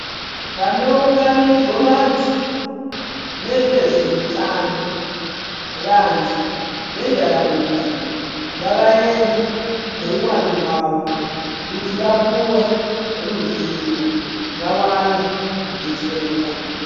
Panounganidzwa vantu nevezeutano vantu vendaraunda ngavaende neuwandu hwavo kuti vapuwe ruzivo vawane kudetsereka.